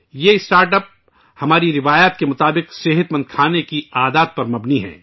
یہ startup ہماری روایات کے مطابق صحت مند کھانے کی عادات پر مبنی ہے